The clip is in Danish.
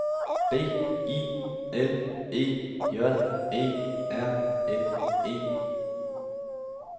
B I L E J E R N E